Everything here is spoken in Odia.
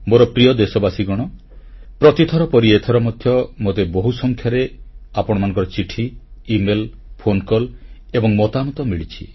ମୋର ପ୍ରିୟ ଦେଶବାସୀଗଣ ପ୍ରତିଥର ପରି ଏଥର ମଧ୍ୟ ମୋତେ ବହୁସଂଖ୍ୟାରେ ଆପଣମାନଙ୍କର ଚିଠି ଇମେଲ ଫୋନକଲ ଏବଂ ମତାମତ ମିଳିଛି